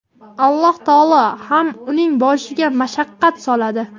Alloh taolo ham uning boshiga mashaqqat soladi.